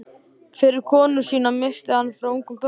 Fyrri konu sína missti hann frá ungum börnum.